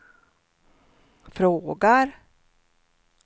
frågar